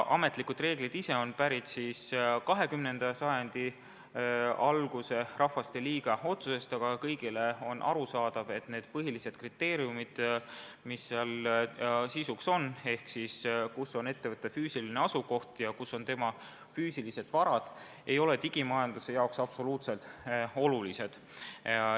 Ametlike reeglite alus on 20. sajandi alguses tehtud Rahvasteliidu otsus, aga kõigile on arusaadav, et need põhilised kriteeriumid, mis seal sisuks on – ehk siis kus on ettevõtte füüsiline asukoht ja kus on tema füüsilised varad –, ei ole digimajanduse korral absoluutselt olulised.